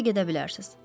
İndi gedə bilərsiz.